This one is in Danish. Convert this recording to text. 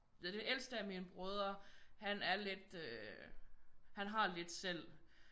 Den ældste af mine brødre han er lidt øh han har lidt selv